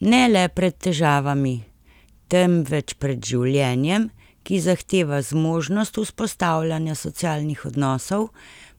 Ne le pred težavami, temveč pred življenjem, ki zahteva zmožnost vzpostavljanja socialnih odnosov,